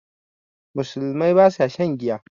Musulmai ba sa shan giya